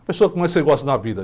A pessoa que mais você gosta na vida?